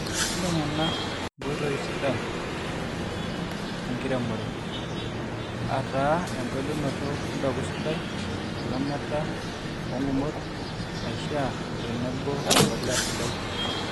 intengena inkoitoi sidan nkiremore> aataa engelunoto empeku sidai, elamata soongumot naishiaa otenebo olmpolea sidai